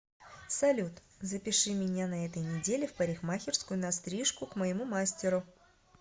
салют запиши меня на этой неделе в парикмахерскую на стрижку к моему мастеру